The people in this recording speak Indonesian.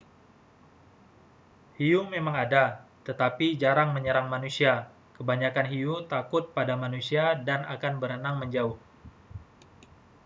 hiu memang ada tetapi jarang menyerang manusia kebanyakan hiu takut pada manusia dan akan berenang menjauh